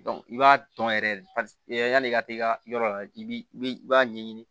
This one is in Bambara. i b'a tɔn yɛrɛ yan'i ka taa i ka yɔrɔ la i b'i i b'a ɲɛɲini